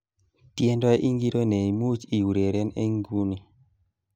Tiendo ingiro nemuch iureren eng nguni